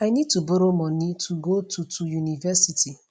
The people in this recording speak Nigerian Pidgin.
i need to borrow money to go to to university